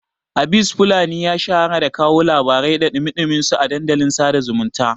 Abis fulani ya shahara da kawo labarai da ɗumi-ɗuminsu a dandalin sada zumunta